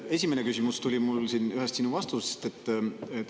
Esimene küsimus tuleneb mul ühest sinu vastusest.